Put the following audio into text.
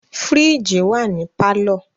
Fìríìjì wà ní pálọ̀.